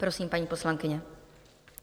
Prosím, paní poslankyně.